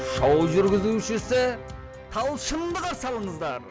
шоу жүргізушісі талшынды қарсы алыңыздар